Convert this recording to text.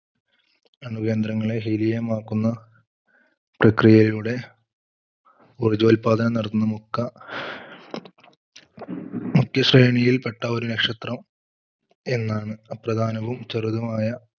അണു കേന്ദ്രങ്ങളെ helium ആക്കുന്ന പ്രക്രിയയിലൂടെ ഊർജോൽപദാനം നടത്തുന്ന മുക്ക മുഖ്യ സേനയിൽപ്പെട്ട ഒരു നക്ഷത്രം എന്നാണ് അപ്രധാനവും ചെറുതുമായ,